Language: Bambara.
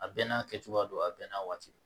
A bɛɛ n'a kɛcogoya don a bɛɛ n'a waati don